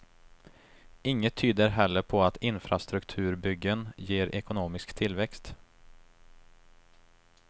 Inget tyder heller på att infrastrukturbyggen ger ekonomisk tillväxt.